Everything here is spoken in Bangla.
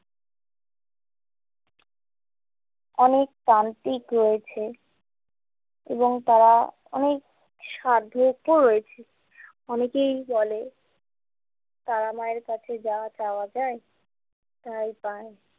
অনেক তান্ত্রিক রয়েছে এবং তারা অনেক সাধকও রয়েছে অনেকেই বলে তারামায়ের কাছে যা চাওয়া যায় তাই পায়।